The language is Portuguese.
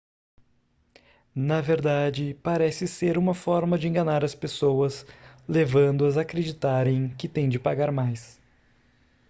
na verdade parece ser uma forma de enganar as pessoas levando-as a acreditarem que têm de pagar mais